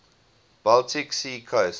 baltic sea coast